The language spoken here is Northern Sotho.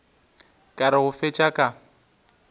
ka re go fetša ka